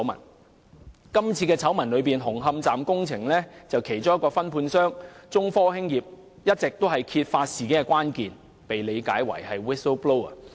在今次醜聞中，紅磡站工程的其中一個分判商中科興業有限公司，一直是揭發事件的關鍵，被視為 "whistle-blower"。